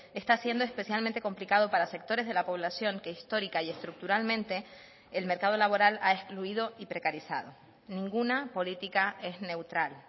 está siendo especialmente complicado para sectores de la población que histórica y estructuralmente el mercado laboral ha excluido y precarizado ninguna política es neutral